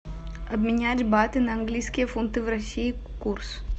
обменять баты на английские фунты в россии курс